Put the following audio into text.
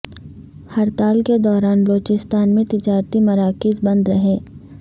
ہڑتال کے دوران بلوچستان میں تجارتی مراکز بند رہے